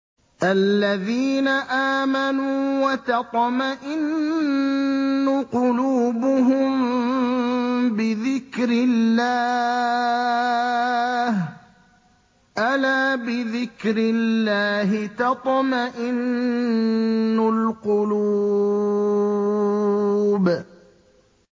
الَّذِينَ آمَنُوا وَتَطْمَئِنُّ قُلُوبُهُم بِذِكْرِ اللَّهِ ۗ أَلَا بِذِكْرِ اللَّهِ تَطْمَئِنُّ الْقُلُوبُ